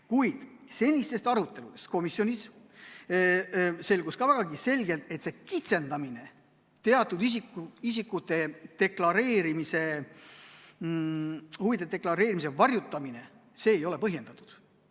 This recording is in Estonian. Kuid senistes aruteludes komisjonis selgus ka vägagi selgelt, et see kitsendamine, teatud isikute huvide deklareerimise varjutamine ei ole põhjendatud.